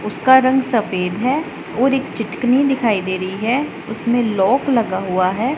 उसका रंग सफेद है और एक चिटकनी दिखाई दे रही है उसमें लॉक लगा हुआ है।